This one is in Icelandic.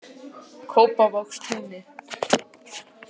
Kópavogstúni